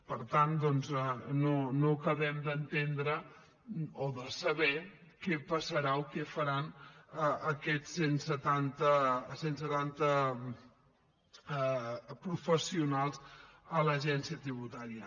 per tant doncs no acabem d’entendre o de saber què passarà o què faran aquests cent setanta professionals a l’agència tributària